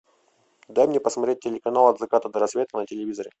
дай мне посмотреть телеканал от заката до рассвета на телевизоре